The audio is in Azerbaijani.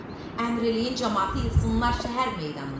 Əmr eləyin camaatı yığsınlar şəhər meydanına.